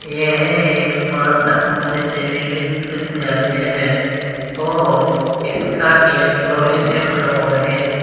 यह एक मां शाकुंभरी देवी विश्वविद्यालय है और इसका गेट लोहे से बना हुआ है।